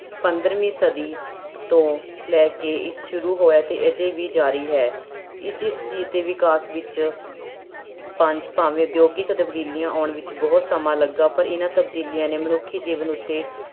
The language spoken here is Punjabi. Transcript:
ਪੰਦਰਵੀਂ ਸਦੀ ਤੋਂ ਲੈ ਕੇ ਸ਼ੁਰੂ ਹੋਇਆ ਅਤੇ ਅਜੇ ਵੀ ਜ਼ਾਰੀ ਹੈ, ਜਿਸ ਚੀਜ਼ ਦੇ ਵਿਕਾਸ ਵਿੱਚ ਪੰਜ ਭਾਵੇਂ ਉਦਯੋਗਿਕ ਤਬਦੀਲੀਆਂ ਆਉਣ ਵਿੱਚ ਬਹੁਤ ਸਮਾਂ ਲੱਗਾ ਪਰ ਇਹਨਾਂ ਤਬਦੀਲੀਆਂ ਨੇ ਮਨੁੱਖੀ ਜੀਵਨ ਉੱਤੇ